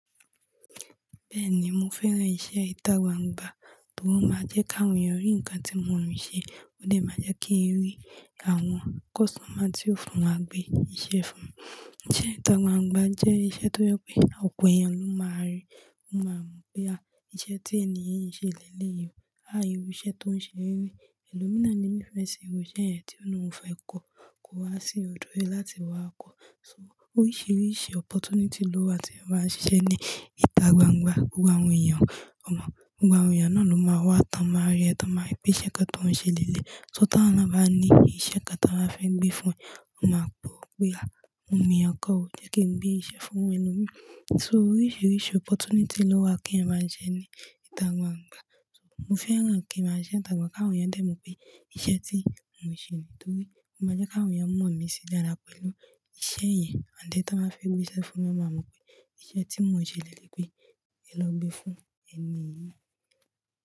Bẹ́ẹ̀ni, mo fẹ́ran iṣẹ́ ìtàgbàǹgbà torí ó máa jẹ́ kí àwọn èèyàn rí nǹkan tí mo ń ṣe, ó dè máa jẹ́ kí ń rí àwọn customer tí ó fún wa gbé iṣẹ́ fún wa. Ìṣe ìtàgbàǹgbà jẹ́ iṣẹ́ tó jẹ́ pé ọ̀pọ̀ èèyàn ló máa rí, wọ́n máa mọ̀ pé a, iṣẹ́ tí ẹni yí ń ṣe lélẹ̀ yìí, a irú iṣẹ́ tó ń ṣe rí. Ẹ̀lòmíràn le nifẹ́ ṣi irú iṣẹ́ yẹn tí ó ní òun fẹ́ kó, kó wá sí ọ̀dọ̀ rẹ láti wá kọ́. So oríṣiríṣi opportunity ló wà tí ẹeyan bá ń ṣiṣẹ́ ní ìtàgbàǹgbà. Gbogbo àwọn èèyàn, ọmọ, gbogbo àwọn èèyàn náà ló máa wá, wọn máa rí ẹ, wọ́n máa rí pé iṣẹ́ kan tó ń ṣe lélẹ̀. So tí wọ́n bá ní pé iṣẹ́ kan tí wọ́n bá fẹ́ gbé fún ẹ, wọ́n máa gbọ́ pé a, mo mọ̀ ẹni kan ó, jẹ́ kí n gbé iṣẹ́ fún ẹni náà. So oríṣiríṣi opportunity ló wà kí ẹ máa jẹ́ ní ìtàgbàǹgbà. So mo fẹ́ràn kí máa sise ìtàgbàǹgbà kí àwọn èèyàn lè mọ̀ pé iṣẹ́ tí mò ń ṣe nítorí wọ́n máa jẹ́ kí àwọn èèyàn mọ̀ mí sí jáàpá pẹ̀lú iṣẹ́ yẹn. Ànd then ẹ́ tí wọ́n bá fẹ́ gbé iṣẹ́ fún mi, wọ́n máa mọ̀ pé iṣẹ́ tí mò ń ṣe lélẹ̀yi pé ẹ lọ gbé fún ẹni yí.